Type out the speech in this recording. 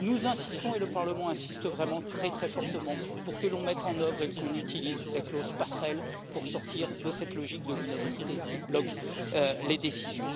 nous insistons et le Parlement insiste vraiment très fortement pour que l'on mette en œuvre et qu'on utilise la clause passerelle afin de sortir de la logique de l'unanimité qui bloque les décisions.